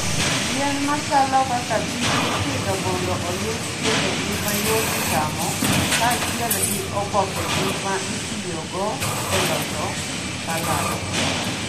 Yien machalo kaka beet ipidho mondo oyud tiendgi ma yot chamo kaachiel gi obokegi, ma itiyogo e loso salad.